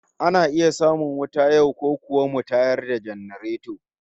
Ana iya samun wuta yau, ko kuwa mu tayar da janareto?